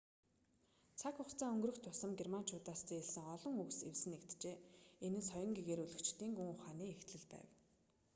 цаг хугацаа өнгөрөх тусам германчуудаас зээлсэн олон үгс эвсэн нэгджээ энэ нь соён гэгээрүүлэгчдийн гүн ухааны эхлэл байв